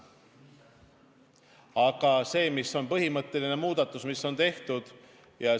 Aga mis on põhimõtteline muudatus, mis on tehtud?